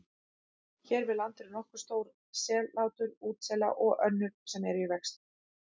Hér við land eru nokkur stór sellátur útsela og önnur sem eru í vexti.